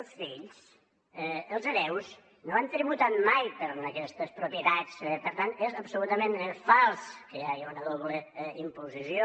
els fills els hereus no han tributat mai per aquestes propietats per tant és absolutament fals que hi hagi una doble imposició